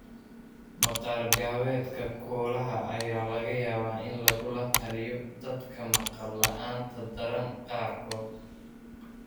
Maqaar-gaabeedka koolaha ayaa laga yaabaa in lagula taliyo dadka maqal la'aanta daran qaarkood.